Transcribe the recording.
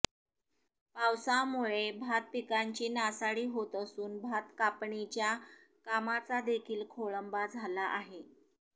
पावसामुळे भातपिकांची नासाडी होत असून भातकापणीच्या कामाचादेखील खोळंबा झाला आहे